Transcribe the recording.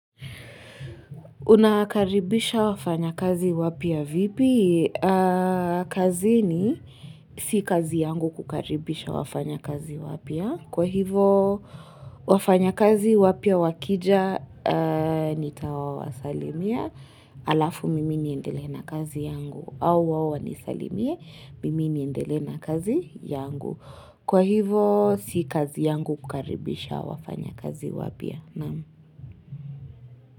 Una karibisha wafanyakazi wapya vipi? Kazini si kazi yangu kukaribisha wafanyakazi wapya. Kwa hivo wafanyakazi wapya wakija nitawawasalimia alafu mimi niendelee na kazi yangu. Au wao wanisalimie mimi niendelee na kazi yangu. Kwa hivo si kazi yangu kukaribisha wafanya kazi wapia.